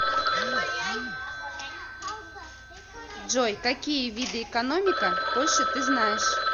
джой какие виды экономика польши ты знаешь